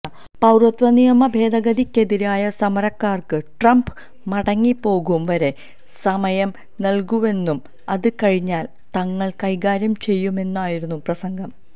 പൌരത്വനിയമഭേദഗതിക്കെതിരായ സമരക്കാര്ക്ക് ട്രംപ് മടങ്ങിപ്പോകും വരെ സമയം നല്കുന്നുവെന്നും അത് കഴിഞ്ഞാല് തങ്ങള് കൈകാര്യം ചെയ്യുമെന്നുമായിരുന്നു പ്രസംഗം